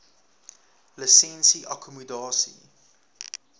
lisensie akkommodasie